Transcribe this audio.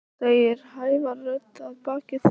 segir hávær rödd að baki þeim.